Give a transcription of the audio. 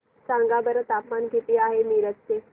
सांगा बरं तापमान किती आहे मिरज चे